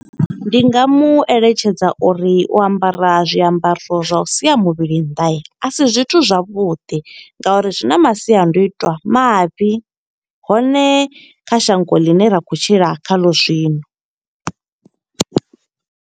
Ndi nga mu eletshedza uri u ambara zwiambaro zwa u sia muvhili nnḓa, a si zwithu zwavhuḓi, nga uri zwi na masiandoitwa mavhi. Hone kha shango ḽine ra khou tshila khaḽo zwino.